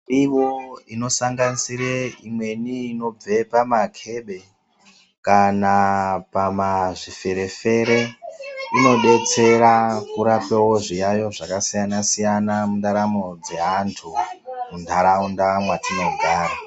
Miriwo inosanganisira imweni inobva pamakebe kana pamazviferefere inobetsera kurape zviyaiyo zvakasiyana siyana mundaramo dzeantu muntaraunda mwatinogara.